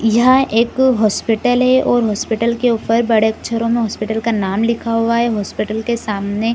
यहाँ एक अ हॉस्पिटल है और हॉस्पिटल के ऊपर बड़े अक्षरों मे हॉस्पिटाल का नाम लिखा हुआ है। हॉस्पिटल के सामने--